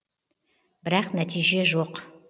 бірақ нәтиже жоқ